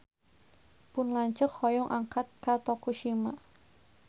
Pun lanceuk hoyong angkat ka Tokushima